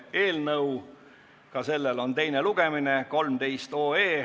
Eelnõu kannab numbrit 13 ja sellelgi on teine lugemine.